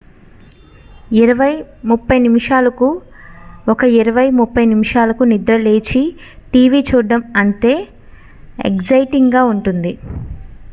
ఇరవై ముప్పై నిమిషాలకు ఒక ఇరవై ముప్పై నిమిషాలకు నిద్రలేచి టీవీ చూడటం అంతే ఎగ్జైటింగ్ గా ఉంటుంది